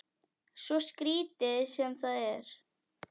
Svo skrítið sem það er.